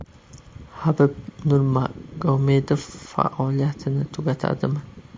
Habib Nurmagomedov faoliyatini tugatadimi?